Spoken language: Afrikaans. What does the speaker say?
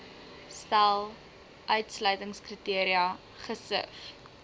stel uitsluitingskriteria gesif